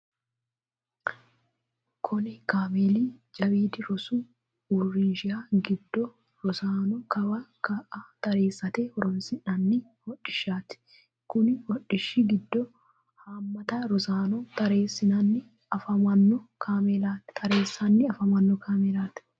kuni kameli jawiidi rosu urinsha giddo rosaano kawa ka'a tareesate horoonsi'nanni hodhishati. kuni hodhishi giddosi haamata rosaano tareesanni afamanno kamelati.